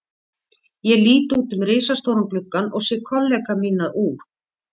Ég lít út um risastóran gluggann og sé kollega mína úr